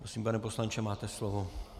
Prosím, pane poslanče, máte slovo.